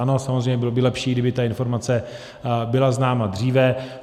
Ano, samozřejmě by bylo lepší, kdyby ta informace byla známa dříve.